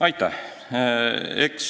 Aitäh!